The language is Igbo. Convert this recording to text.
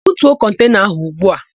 Butuo kọntena áhụ̀ ugbu a!